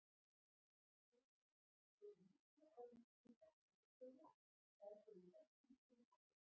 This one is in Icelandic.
Þjóðverjar lögðu mikla áherslu á talstöðvar og þær voru í öllum skriðdrekum.